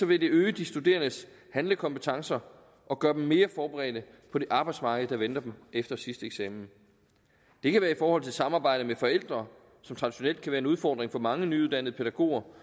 vil det øge de studerendes handlekompetencer og gøre dem mere forberedte på det arbejdsmarked der venter dem efter sidste eksamen det kan være i forhold til samarbejdet med forældre som traditionelt kan være en udfordring for mange nyuddannede pædagoger